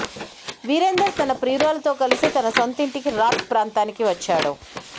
వీరేందర్ తన ప్రియురాలుతో కలిసి తన సొంతింటికి రాత్ ప్రాంతానికి వచ్చాడు